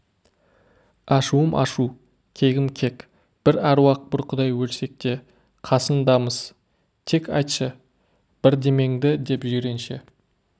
ашуым ашу кегім кек бір әруақ бір құдай өлсек те қасындамыз тек айтшы бірдемеңді деп жиренше